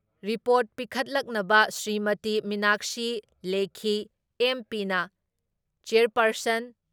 report ꯄꯤꯈꯠꯂꯛꯅꯕ ꯁ꯭ꯔꯤꯃꯇꯤ ꯃꯤꯅꯥꯛꯁꯤ ꯂꯦꯈꯤ, ꯑꯦꯝ.ꯄꯤꯅ chairperson